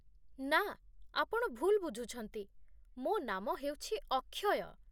ନା, ଆପଣ ଭୁଲ ବୁଝୁଛନ୍ତି, ମୋ ନାମ ହେଉଛି ଅକ୍ଷୟ